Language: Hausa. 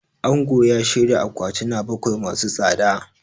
Angon ya shirya akwatina bakwai masu tsada.